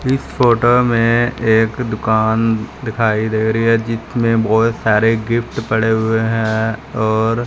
इस फोटो में एक दुकान दिखाई दे रही हैं जिसमें बोहोत सारे गिफ्ट पड़े हुएं हैं और--